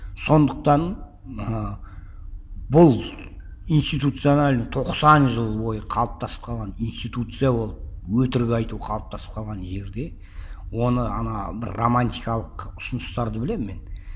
сондықтан ыыы бұл институционально тоқсан жыл бойы қалыптасып қалған институция ол өтірік айту қалыптасып қалған жерде оны ана бір романтикалық ұсыныстарды білемін мен